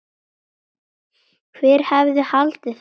Hver hefði haldið það?